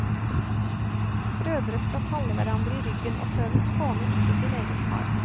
Brødre skal falle hverandre i ryggen, og sønnen skåner ikke sin egen far.